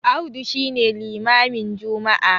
Audu shi ne limamin Juma'a